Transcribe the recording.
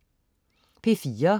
P4: